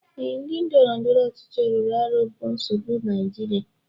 Ee, ndị ndọrọndọrọ ọchịchị rụrụ arụ bụ nsogbu Naijiria